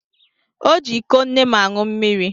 O ji iko nne m aṅụ mmiri.